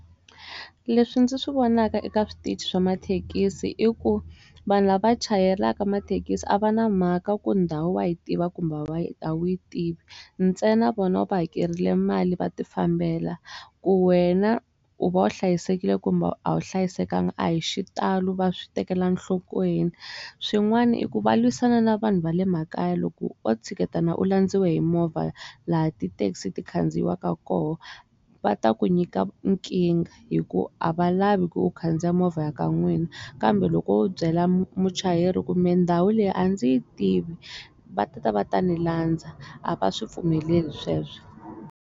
Leswi ndzi swi vonaka eka switichi swa mathekisi i ku vanhu lava vachayelaka mathekisi a va na mhaka ku ndhawu wa yi tiva kumbe a wu yi tivi ntsena vona u va hakerile mali va ti fambela ku wena u va u hlayisekile kumbe a wu hlayisekanga a hi xitalo va swi tekela nhlokweni swin'wana i ku va lwisana na vanhu va le makaya loko o tshiketana u landziwa hi movha laha ti taxi ti khandziyaka koho va ta ku nyika nkingha hikuva a va lavi ku u khandziya movha ya ka n'wina kambe loko byela muchayeri kumbe ndhawu leyi a ndzi yi tivi va ta va ta ni landza a va swi pfumeleli sweswi.